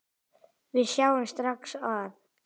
Við sjáum strax að